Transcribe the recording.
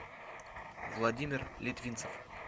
владимир литвинцев